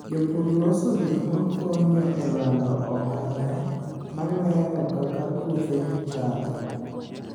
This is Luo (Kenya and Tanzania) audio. Jopur loso gik makonyo e lando ohala, malero kaka puothegi chalo.